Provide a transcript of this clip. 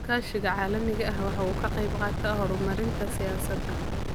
Iskaashiga caalamiga ahi waxa uu ka qayb qaataa horumarinta siyaasadda.